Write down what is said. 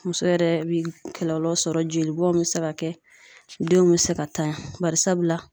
Muso yɛrɛ bi kɔlɔlɔ sɔrɔ jolibɔn be se ka kɛ, denw be se ka ntanya barisabula